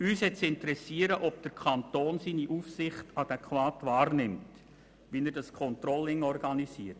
Uns hat es zu interessieren, ob der Kanton seine Aufsichtspflicht adäquat wahrnimmt, und wie er das Controlling organisiert.